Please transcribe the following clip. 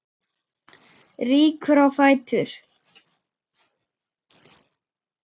Rýkur á fætur.